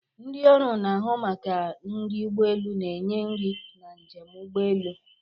Ndị ọrụ na-ahụ maka nri ụgbọ elu na-enye nri na njem ụgbọ elu.